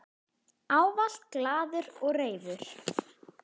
Ávallt glaður og reifur.